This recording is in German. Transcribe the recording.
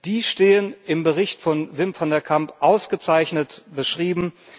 Die stehen im Bericht von Wim van de Camp ausgezeichnet beschrieben.